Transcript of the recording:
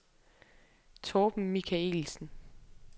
Torben Michaelsen